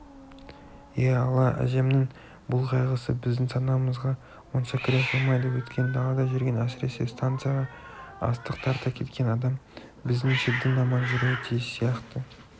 е алла әжемнің бұл қайғысы біздің санамызға онша кіре қоймайды өйткені далада жүрген әсіресе станцияға астық тарта кеткен адам біздіңше дін аман жүруі тиіс сияқты